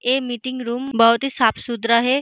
ये meeting room बोहोत ही साफ सुथरा है।